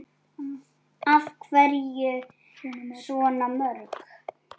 Af hverju svona mörg?